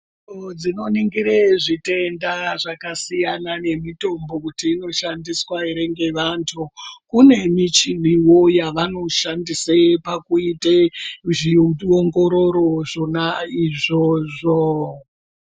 Zviro zvinoningira zvitenda zvakasiyana nemitombo kuti inoshandiswa ere ngevantu. Kune michinivo yavanoshandise pakuite zviongororo izvona izvozvo.